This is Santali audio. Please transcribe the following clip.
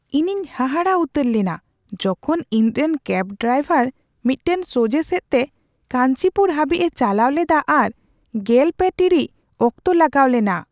ᱤᱧᱤᱧ ᱦᱟᱦᱟᱲᱟᱜ ᱩᱛᱟᱹᱨ ᱞᱮᱱᱟ ᱡᱚᱠᱷᱚᱱ ᱤᱧ ᱨᱮᱱ ᱠᱮᱹᱵᱽ ᱰᱨᱟᱭᱵᱷᱟᱨ ᱢᱤᱫᱴᱟᱝ ᱥᱚᱡᱷᱽᱦᱮ ᱥᱮᱫ ᱛᱮ ᱠᱟᱧᱪᱤᱯᱩᱨ ᱦᱟᱹᱵᱤᱡ ᱮ ᱪᱟᱞᱟᱣ ᱞᱮᱫᱟ ᱟᱨ ᱓᱐ ᱴᱤᱲᱤᱡ ᱚᱠᱛᱚ ᱞᱟᱜᱟᱣ ᱞᱮᱱᱟ ᱾